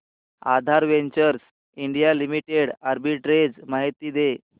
आधार ventures India limited arbitrage माहिती दे